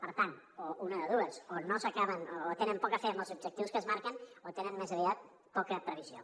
per tant una de dues o tenen poca fe amb els objectius que es marquen o tenen més aviat poca previsió